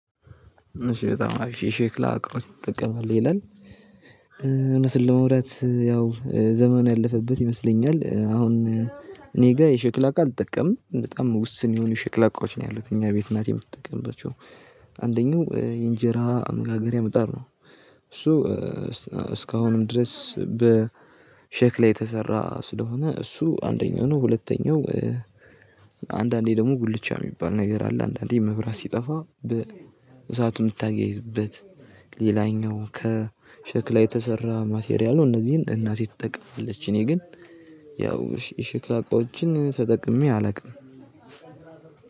እሺ በጣም አሪፍ የሼክላ እቃዎች ትጠቀማሌ? ይላል እውነት ለመውራት ያው ዘመኑ ያለፈበት ይመስለኛል፤ አሁን እኔ ጋር የሽክላ እቃ አልጠቀምም፤ በጣም ውስን የሆኑ ሽክላቃዎች ነው ያሉት፤ እኛ ቤት እናቴ የምትጠቀምባቸው። አንደኛው የእንጀራ መጋገሪያ ምጣድ ነው እሱ እስካሁንም ድረስ በሼክላ የተሰራ ስለሆነ እሱ አንደኛው ነው ሁለተኛው አንዳንዴ ደግሞ ጉልቻ የሚባል ነገር አለ። አንዳንዴ መብራት ሲጠፋ በእሳቱ የምታያይዝበት ሌላኛው ከሸክላ የተሰራ ማቴሪያል ነው። እነዚህን እናቴ ትጠቀማለች እኔ ግን ያው የሽክላ እቃዎችን ተጠቅሜ አላውቅም።